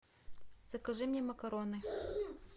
закажи мне макароны